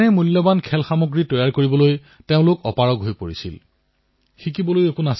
অৰ্থাৎ এক আকৰ্ষণীয় খেলাসামগ্ৰীয়ে এক উৎকৃষ্ট শিশুক কৰবাত যেন চেপি ধৰিলে মোহাৰি পেলালে